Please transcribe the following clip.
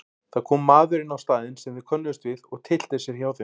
Það kom maður inn á staðinn sem þeir könnuðust við og tyllti sér hjá þeim.